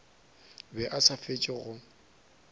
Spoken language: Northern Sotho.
be a sa fetše go